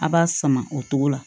A b'a sama o togo la